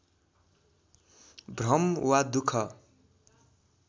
भ्रम वा दुःख